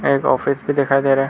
एक ऑफिस भी दिखाई दे रहा है।